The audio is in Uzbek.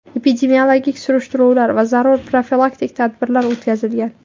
Epidemiologik surishtiruvlar va zarur profilaktik tadbirlar o‘tkazilgan.